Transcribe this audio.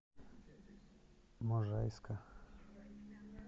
можайска